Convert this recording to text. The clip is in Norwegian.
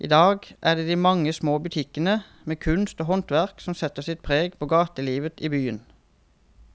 I dag er det de mange små butikkene med kunst og håndverk som setter sitt preg på gatelivet i byen.